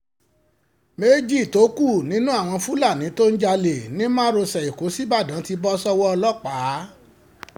méjì tó kù nínú àwọn fúlàní tó ń jalè ní márosẹ̀ ẹ̀kọ́ ṣíbàdàn ti bọ́ sọ́wọ́ ọlọ́pàá